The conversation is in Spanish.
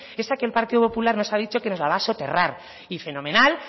esa que el partido popular nos ha dicho que nos la va a soterrar y fenomenal